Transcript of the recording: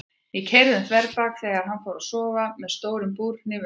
Það keyrði um þverbak þegar hann fór að sofa með stóran búrhníf undir koddanum.